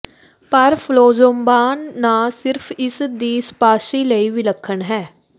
ਪਰ ਫਲੌਮਜ਼ਬਾਨ ਨਾ ਸਿਰਫ ਇਸ ਦੀ ਸਪਾਂਸੀ ਲਈ ਵਿਲੱਖਣ ਹੈ